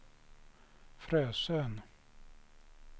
Frösön